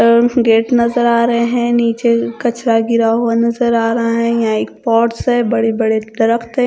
gate नजर आ रहे हैं नीचे कचरा गिरा हुआ नजर आ रहा है यहां एक पॉट्स है बड़े बड़े --